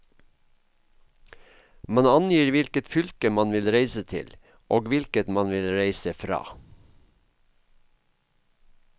Man angir hvilket fylke man vil reise til, og hvilket man vil reise fra.